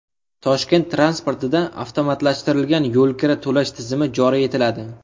Toshkent transportida avtomatlashtirilgan yo‘lkira to‘lash tizimi joriy etiladi.